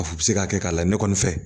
A bi se ka kɛ k'a la ne kɔni fɛ